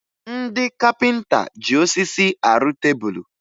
Ndị kapịnta ji osisi arụ tebulu